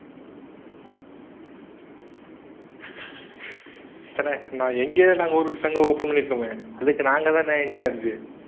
நான் இங்கேயே நாங்க ஒரு சங்கம் open பண்ணியிருக்கோமே. அதுக்கு நாங்க தானே incharge.